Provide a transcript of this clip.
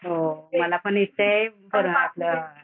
हो मलापण इच्छाये